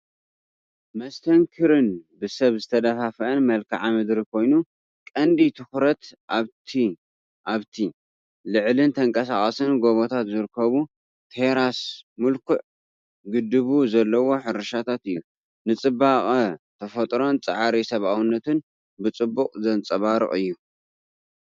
መስተንክርን ብሰብ ዝተደፋፍአን መልክዓ ምድሪ ኮይኑ፡ ቀንዲ ትኹረት ኣብቲ ኣብቲ ልዑልን ተንቀሳቓስን ጎቦታት ዝርከብ ቴራስ ምልኩዕ ግድብ ዘለዎ ሕርሻታት እዩ። ንጽባቐ ተፈጥሮን ጻዕሪ ሰብኣውነትን ብጽቡቕ ዘንጸባርቕ እዩ፡፡